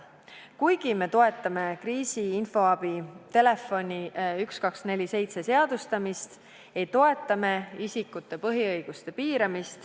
Kuigi me toetame kriisiinfoabi telefoni 1247 seadustamist, ei toeta me isikute põhiõiguste piiramist.